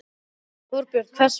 Þorbjörn: Hvers vegna?